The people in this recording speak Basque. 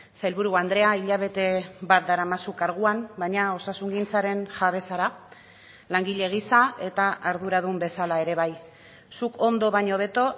sailburu andrea hilabete bat daramazu karguan baina osasungintzaren jabe zara langile gisa eta arduradun bezala ere bai zuk ondo baino hobeto